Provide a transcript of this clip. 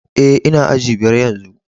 Eh, n'na aji biyar yanzu.